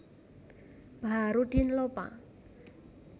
Baharuddin Lopa